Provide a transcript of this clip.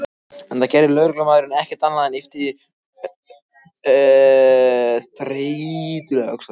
Enda gerði lögreglumaðurinn ekki annað en yppta þreytulega öxlum.